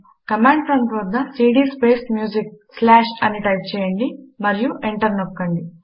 command prompt వద్ద CD space music slash అని type చేయండి మరియు ఎంటర్ నొక్కండి